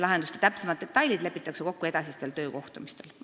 Lahenduste täpsemad detailid lepitakse kokku edasistel töökohtumistel.